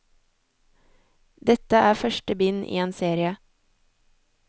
Dette er første bind i en serie.